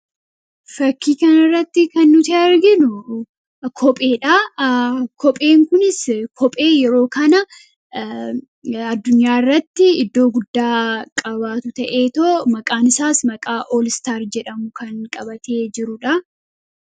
fakkii kan irratti kan nuti arginu kophee dha kopheen kunis kophee yeroo kana addunyaa irratti iddoo guddaa qabaatu ta'ee too maqaan isaas maqaa ool istaar jedhamu kan qabatee jirudha